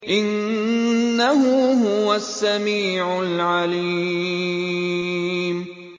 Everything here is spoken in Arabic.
إِنَّهُ هُوَ السَّمِيعُ الْعَلِيمُ